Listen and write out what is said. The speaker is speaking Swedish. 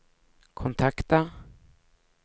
kontakta